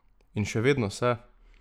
In še vedno se.